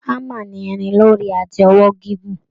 Hammer ni irin lórí àti ọwọ́ gígùn.